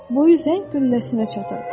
Boyu zəng qülləsinə çatır.